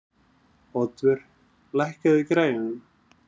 Oddvör, lækkaðu í græjunum.